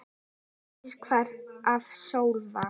Brosið hvarf af Sölva.